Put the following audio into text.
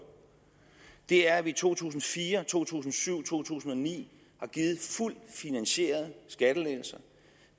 er at vi i to tusind og fire to tusind og syv og to tusind og ni har givet fuldt finansierede skattelettelser